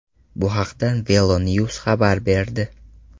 Bu haqda VeloNews xabar berdi .